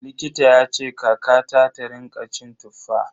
Likita yace kakata ta rinƙa cin Tuffa.